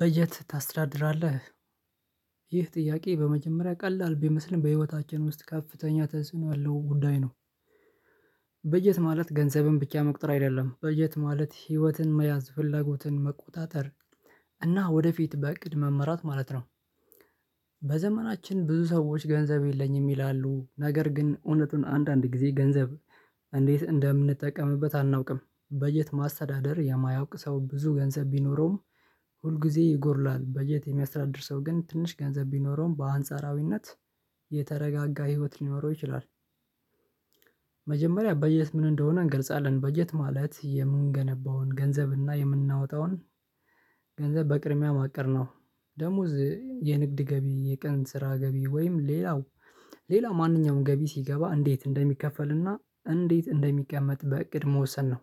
በጀት ታስተዳድራለህ? ይህ ጥያቄ በመጀመሪያ ቀላል ቢመስልም በህይወታችን ውስጥ ከፍተኛ ተጽኖ ያለው ጉዳይ ነው። በጀት ማለት ገንዘብም ብቻ መቁጠር አይደለም በጀት ማለት ህይወትን መያዝ ፍላጎትን መቆጣጠር እና ወደፊት በእቅድ መመራት ማለት ነው። በዘመናችን ብዙ ሰዎች ገንዘብ የለኝም ይላሉ ነገር ግን እውነቱን አንዳንድ ጊዜ ገንዘብ እንዴት እንደምንጠቀምበት አናውቅም በጀት ማስተዳደር የማያውቅ ሰው ብዙ ገንዘብ ቢኖረውም ሁል ጊዜ ይጎድላል በጀት የሚያስተዳድር ሰው ግን ትንሽ ገንዘብ ቢኖረውም በአንጻራዊነት የተረጋጋ ህይወት ሊኖረው ይችላል። መጀመሪያ በጀት ምን እንደሆነ እንገልጻለን በጀት ማለት የምንገነባውን ገንዘብና የምናወጣውን ገንዘብ በቅርብ ያማቀርነው ደሞዝ የንግድ ገቢ የቀን ስራ ገቢ ወይም ሌላው ሌላ ማንኛውም ገቢ ሲገባ እንዴት እንደሚከፈልና እንዴት እንደሚቀመጥ በእቅድ መወሰን ነው።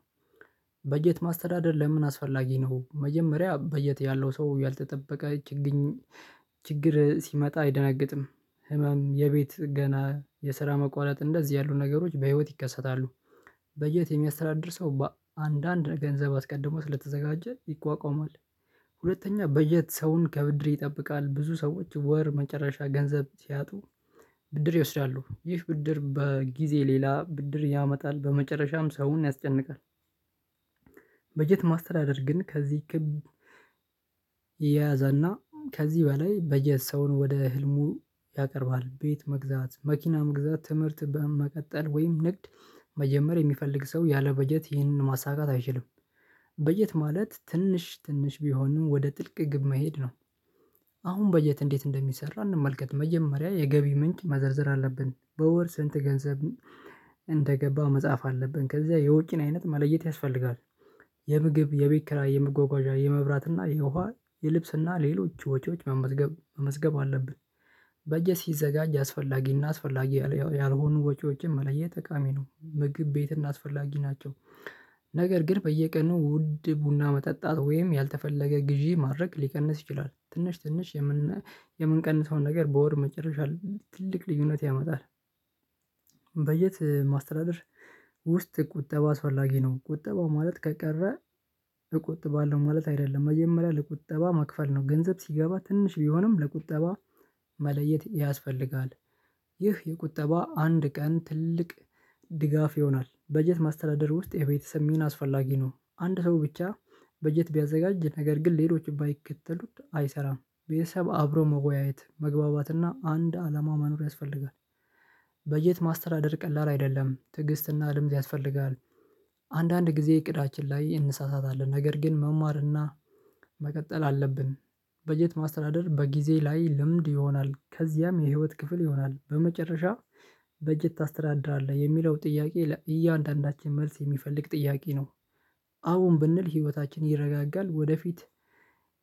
በጀት ማስተዳደር ለምን አስፈላጊ ነው? መጀመሪያ በጀት ያለው ሰው ያልተጠበቀ ችግር ሲመጣ አይደነግጥም ህመም የቤት ገና የስራ መቋረጥ እንደዚህ ያሉ ነገሮች በህይወት ይከሰታሉ። በጀት የሚያስተዳድር ሰው በአንዳንድ ገንዘብ አስቀድሞ ስለተዘጋጀ ይቋቋመዋል። ሁለተኛ በጀት ሰውን ከብድር ይጠብቃል። ብዙ ሰዎች ወር መጨረሻ ገንዘብ ሲያጡ ብድር ይወስዳሉ ይህ ብድር በጊዜ ሌላ ብድር ያመጣል በመጨረሻም ሰውን ያስጨንቃል። በጀት ማስተዳደር ግን ከዚህ ክብ ያዘና ከዚህ በላይ በጀት ሰውን ወደ ህልሙ ያቀርባል ቤት መግዛት መኪና መግዛት ትምህርት በመቀጠል ወይም ንግድ መጀመር የሚፈልግ ሰው ያለ በጀት ይህንን ማሳካት አይችልም። በጀት ማለት ትንሽ ትንሽ ቢሆንም ወደ ጥልቅ ግብ መሄድ ነው። አሁን በጀት እንዴት እንደሚሰራ እንመልከት መጀመሪያ የገቢ ምንጭ መዘርዘር አለብን በወር ስንት ገንዘብ እንደገባው መጽሐፍ አለብን ከዚያ የውጪን አይነት መለየት ያስፈልጋል። የምግብ የቤት ክራይ የምጓጓዣ የመብራት እና የውሃ የልብስና ሌሎች ወጪዎች መመዝገብ መመዝገብ አለብን በጀት ሲዘጋጅ አስፈላጊና አስፈላጊ ያልሆኑ ወጪዎችን መለየት ጠቃሚ ነው። ምግብ ቤትና አስፈላጊ ናቸው ነገር ግን በየቀኑ ውድ ቡና መጠጣት ወይም ያልተፈለገ ግዢ ማድረግ ሊቀንስ ይችላል ትንሽ ትንሽ የምንቀንሰውን ነገር በወር መጨረሻ ትልቅ ልዩነት ያመጣል። በየት ማስተዳደር ውስጥ ቁጠባ አስፈላጊ ነው። ቁጠባ ማለት ከቀረ እቆጥባለው ማለት አይደለም መጀመሪያ ለቁጠባ መክፈል ነው። ገንዘብ ሲገባ ትንሽ ቢሆንም ለቁጠባ መለየት ያስፈልጋል ይህ የቁጠባ አንድ ቀን ትልቅ ድጋፍ ይሆናል። በጀት ማስተዳደር ውስጥ የቤተሰብ ሚና አስፈላጊ ነው። አንድ ሰው ብቻ በጀት ቢያዘጋጅ ነገር ግን ሌሎች ባይከተሉት አይሰራም ቤተሰብ አብሮ መወያየት መግባባትና አንድ አላማ ማኖር ያስፈልጋል። በጀት ማስተዳደር ቀላል አይደለም ትዕግስትና ልምድ ያስፈልጋል። አንዳንድ ጊዜ እቅዳችን ላይ እንሳሳታለን ነገር ግን መማርና መቀጠል አለብን። በጀት ማስተዳደር በጊዜ ላይ ልምድ ይሆናል ከዚያም የህይወት ክፍል ይሆናል በመጨረሻ በጀት ታስተዳድራለህ የሚለው ጥያቄ ለእያንዳንዳችን መልስ የሚፈልግ ጥያቄ ነው። አሁን ብንል ህይወታችን ይረጋጋል ወደፊት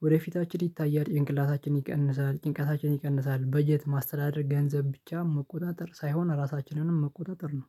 ወደፊታችን ይታያል ጭንቅላታችን ይቀንሳል ጭንቃታችን ይቀንሳል በጀት ማስተዳደር ገንዘብ ብቻ መቆጣጠር ሳይሆን አራሳችንንም መቆጣጠር ነው።